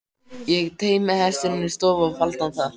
Ég teymdi hestinn inn í stofu og faldi hann þar.